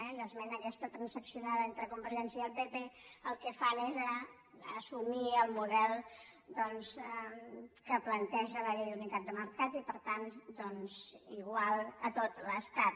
i amb l’esmena aquesta transaccionada entre convergència i el pp el que fan és assumir el model doncs que planteja la llei d’unitat de mercat i per tant doncs igual a tot l’estat